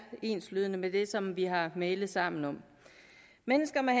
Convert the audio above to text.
enslydende med det som vi har mailet sammen om mennesker med